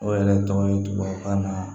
O yɛrɛ tɔgɔ ye tubabukan na